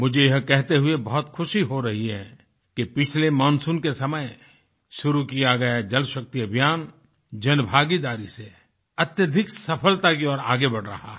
मुझे यह कहते हुए बहुत ख़ुशी हो रही है कि पिछले मानसून के समय शुरू किया गया ये जलशक्ति अभियान जनभागीदारी से अत्यधिक सफलता की ओर आगे बढ़ रहा है